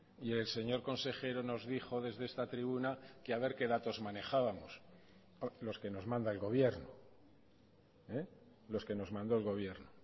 y el señor consejero nos dijo desde esta tribuna que a ver qué datos manejábamos pues los que nos manda el gobierno los que nos mandó el gobierno